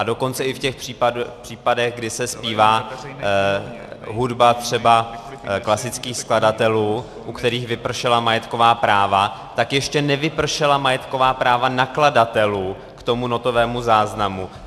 A dokonce i v těch případech, kdy se zpívá hudba třeba klasických skladatelů, u kterých vypršela majetková práva, tak ještě nevypršela majetková práva nakladatelů k tomu notovému záznamu.